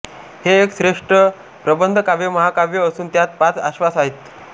हे एक श्रेष्ठ प्रबंधकाव्य महाकाव्य असून त्यात पाच आश्वास आहेत